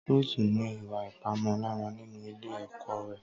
Ruth ní ìwà Ìpamọ́ra nínú Ilé ọkọ rẹ̀